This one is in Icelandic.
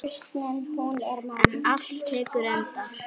En allt tekur enda.